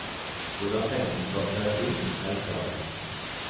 Hvordan pengene skal kreves inn, er ikke avgjort.